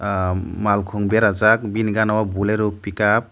ahhh khum berajak bini gana o bulero pickup.